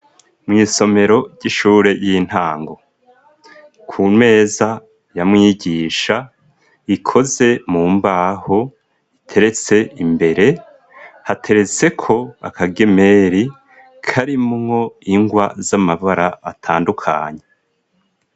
Mw'isomero ry'ishure ry'intango ku meza ya mwigisha ikoze mu mbaho iteretse imbere hateretseko akagemeri karimwo ingwa z'amabara atandukanye.